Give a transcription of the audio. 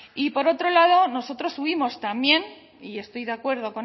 y por otro lado nosotros hubimos también y estoy de acuerdo